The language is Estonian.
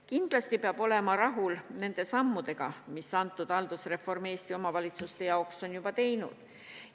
Kindlasti peab olema rahul nende sammudega, mis haldusreform Eesti omavalitsuste jaoks on juba teinud.